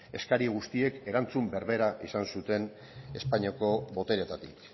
eskari guztiek erantzun berbera izan zuten espainiako botereetatik